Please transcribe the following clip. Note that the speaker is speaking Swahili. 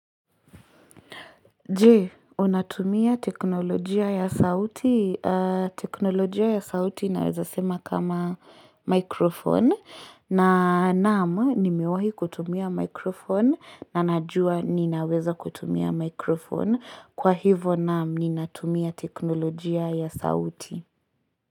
Je, unatumia teknolojia ya sauti? Teknolojia ya sauti naweza sema kama mikrofon na naamu nimeuahi kutumia mikrofon na najua ninaweza kutumia mikrofon kwa hivo naamu nina tumia teknolojia ya sauti.